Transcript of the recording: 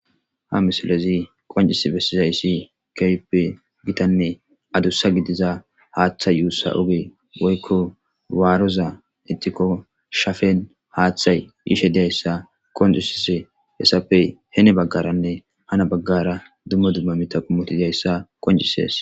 Haa misilezzi qoncciss besizayissa kehippe gitanne addussa gidiza haththa ussa ogeyi woyikko warozza ixikko shaffenni haththayi yishshe dizayissa qonccisishshe hessappe heni bagara nne hani bagara dumma dumma miththi dizayissa qonccisess.